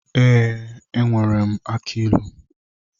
Ee, enwere m aki ilu.